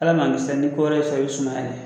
Ala ma kisi la ni ko wɛrɛ y'i sɔrɔ, i bɛ sumaya dɛ.